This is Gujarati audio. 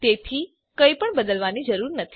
તેથી કંઈપણ બદલવાની જરૂર નથી